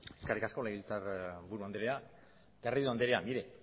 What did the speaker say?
eskerrik asko legebiltzarburu andrea garrido andrea mire